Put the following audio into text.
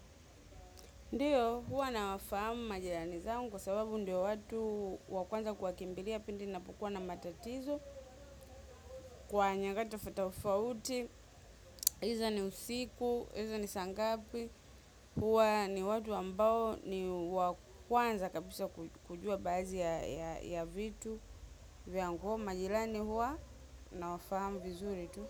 Ndiyo, huwa na wafahamu majilani zangu kwa sababu ndiyo watu wakuanza kwa kimbiria pindi napokua na matatizo kwa nyakati tofauti tofauti huwa eidha ni usiku eidha ni saangap huwa ni watu ambao wa kwanza kabisa kujua baadhi ya vitu vyangu ko majirani huwa nawafahamu vizuri tu.